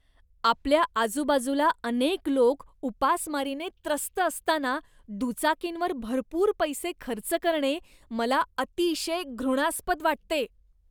आपल्या आजूबाजूला अनेक लोक उपासमारीने त्रस्त असताना दुचाकींवर भरपूर पैसे खर्च करणे मला अतिशय घृणास्पद वाटते.